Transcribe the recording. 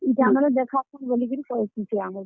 ଇଟା ମାନେ ଦେଖାସନ୍ ବଲିକରି କହେସି ଆମ୍ କୁ।